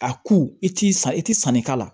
A ku i ti san i ti sanni k'a la